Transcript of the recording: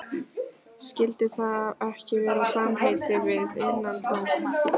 Skyldi það ekki vera samheiti við innantómt?